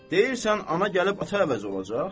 Deyirsən ana gəlib ata əvəzi olacaq?